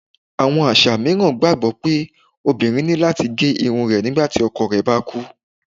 Àwọn aṣa miiran gbagbọ pe obirin ni lati ge irun rẹ nigbati ọkọ rẹ ba kú.